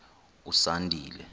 usandile